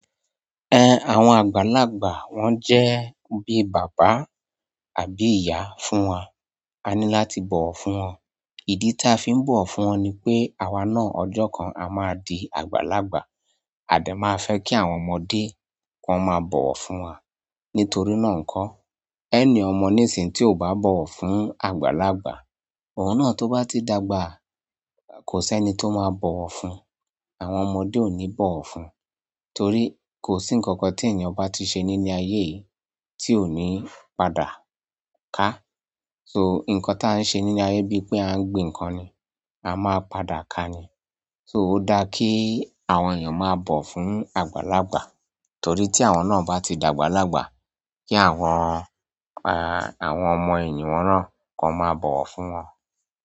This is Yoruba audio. Àwọn àgbàlagbà wọ́n jẹ́ bí bàbá àbí ìyá fún wa. A ní láti bọ̀wọ̀ fún wọn. Ìdí tí a fi ń bọ̀wọ̀ fún wọn ni pé àwa náà ọjọ́ kan a máa di àgbàlagbà, a dẹ̀ máa fẹ́ kí àwọn ọmọdé kí wọ́n máa bọ̀wọ̀ fún wa. Nítorí náà ńkọ́, any ọmọ ní ìsìn tí ò bá bọ̀wọ̀ fún àgbàlagbà, òun náà tó bá ti dàgbà kò sẹ́ni tó máa bọ̀wọ̀ fún-un. Àwọn ọmọdé ò ní bọ̀wọ̀ fún un, torí kò sí ǹkan kan tí ènìyàn bá ti ṣe nínú ayé yìí tí ò ní padà ká. So, nǹkan tí a ń ṣe nínú ayé bíi pé a ń gbin nǹkan ni, a máa padà ka ni. So, ó dáa kí àwọn ènìyàn máa bọ̀wọ̀ fún àgbàlagbà torí tí àwọn náà bá ti dàgbàlagbà kí àwọn, àwọn ọmọ ènìyàn náà kan máa bọ̀wọ̀ fún wọn.